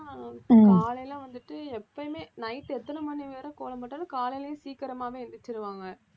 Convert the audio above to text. காலையில வந்துட்டு எப்பயுமே night எத்தனை மணிவரை கோலம் போட்டாலும் காலையிலேயே சீக்கிரமாவே எந்திரிச்சிருவாங்க